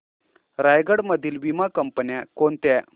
रायगड मधील वीमा कंपन्या कोणत्या